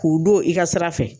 K'u don i ka sira fɛ.